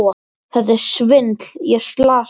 Þetta er svindl, ég er slasaður!